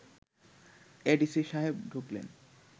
ADC সাহেব ঢুকলেন